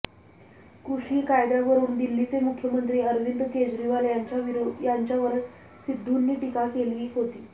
कृषी कायद्यावरून दिल्लीचे मुख्यमंत्री अरविंद केजरीवाल यांच्यावर सिद्धूंनी टीका केली होती